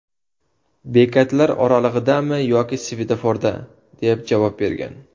Bekatlar oralig‘idami yoki svetoforda?”, deb javob bergan.